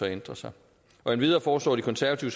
ændre sig endvidere foreslår det konservative